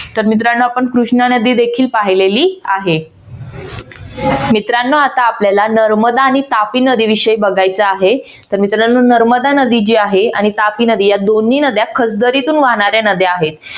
तर मित्रांनो आपण कृष्णा नदी देखील पाहिलेली आहे मित्रांनो आता आपल्याला नर्मदा आणि तापी नदीविषयी बघायचं आहे तर मित्रानो नर्मदा नदी जी आहे आणि तापी नदी या दोन्ही नद्या खलदरीतून वाहणाऱ्या नद्या आहेत.